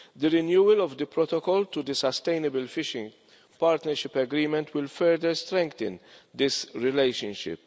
The renewal of the Protocol to the Sustainable Fishing Partnership Agreement will further strengthen this relationship.